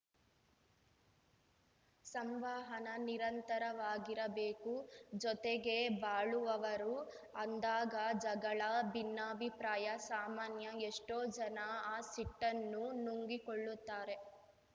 ಸಂವಹನ ನಿರಂತರವಾಗಿರಬೇಕು ಜೊತೆಗೇ ಬಾಳುವವರು ಅಂದಾಗ ಜಗಳ ಭಿನ್ನಾಭಿಪ್ರಾಯ ಸಾಮಾನ್ಯ ಎಷ್ಟೋ ಜನ ಆ ಸಿಟ್ಟನ್ನು ನುಂಗಿಕೊಳ್ಳುತ್ತಾರೆ